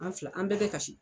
An fila an bɛɛ bɛ kasi.